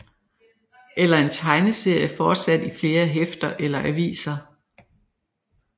Eller en tegneserie fortsat i flere hæfter eller aviser